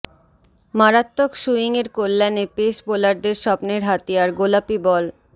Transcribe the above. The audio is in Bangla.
মারাত্মক সুইংয়ের কল্যাণে পেস বোলারদের স্বপ্নের হাতিয়ার গোলাপি বল